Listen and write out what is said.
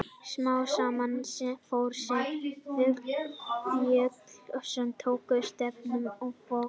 Smám saman fór þeim að fjölga sem tóku stefnuna inn á Vog.